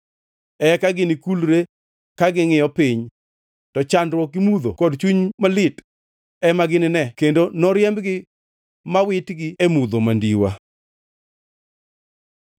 Eka ginikulre ka gingʼiyo piny, to chandruok gi mudho kod chuny malit ema ginine kendo noriembgi mawitgi e mudho mandiwa.